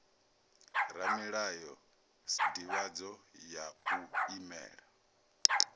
ramulayo sdivhadzo ya u imela